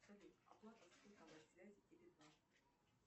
салют оплата